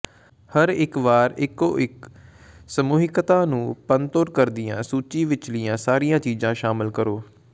ਹਰ ਇਕ ਵਾਰ ਇਕੋ ਇਕ ਸਮੂਹਿਕਤਾ ਨੂੰ ਭੰਨਤੋੜ ਕਰਦਿਆਂ ਸੂਚੀ ਵਿਚਲੀਆਂ ਸਾਰੀਆਂ ਚੀਜ਼ਾਂ ਸ਼ਾਮਲ ਕਰੋ